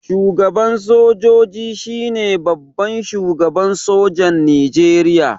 Shugaban sojoji shine babban shugaban sojan Nijeriya